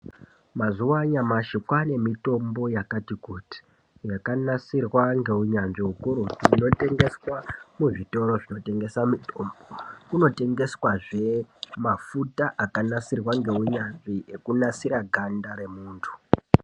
Mazuwa anyashi kwaane mithombo yakati kuti yakanasirwa ngeunyanzvi hukurutu. Kunotengeswa kuzvitoro zvinotengesa mithombo kunotengeswazve mafuta akagadzirwa ngeunyanzvi anonasira ganda remunthu.